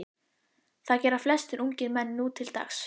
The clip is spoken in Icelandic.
Það gera flestir ungir menn nútildags.